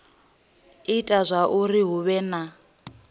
ita zwauri hu vhe na